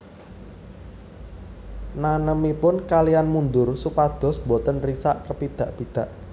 Nanemipun kaliyan mundur supados boten risak kepidak pidak